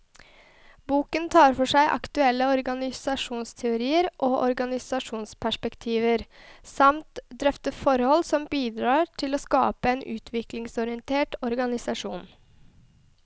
Boken tar for seg aktuelle organisasjonsteorier og organisasjonsperspektiver, samt drøfter forhold som bidrar til å skape en utviklingsorientert organisasjon.